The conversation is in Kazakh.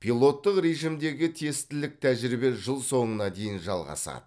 пилоттық режимдегі тестілік тәжірибе жыл соңына дейін жалғасады